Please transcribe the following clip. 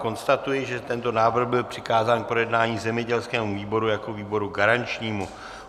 Konstatuji, že tento návrh byl přikázán k projednání zemědělskému výboru jako výboru garančnímu.